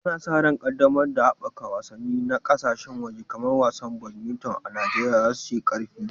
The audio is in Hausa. Ana sa ran yunƙurin ƙaddamarwa da haɓaka wasanni na ƙasashen waje kamar wasan badminton a Najeriya za su yi ƙarfi.